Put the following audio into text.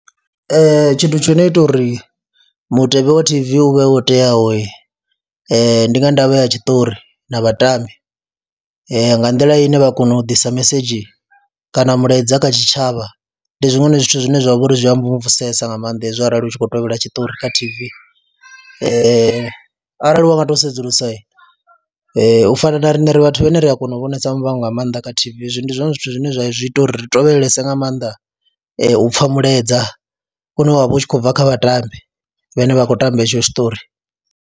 Ee, tshithu tsho no ita uri mutevhe wa T_V u vhe wo teaho ndi nga ndavha ya tshiṱori na vhatambi, nga nḓila ine vha kona u ḓisa mesedzhi kana mulaedza kha tshitshavha ndi zwiṅwe zwithu zwine zwa vha uri zwi a mvumvusesa nga maanḓa hezwo arali u tshi khou tevhela tshiṱori kha T_V, arali wa nga tou sedzulusa u fana na riṋe ri vhathu vhane ri a kona u vhonesa Muvhango nga maanḓa kha T_V, hezwi ndi zwone zwithu zwine zwa zwi ita uri ri tevhelese nga maanḓa u pfha mulaedza une wa vha u tshi khou bva kha vhatambi vhane vha khou tamba hetsho tshiṱori.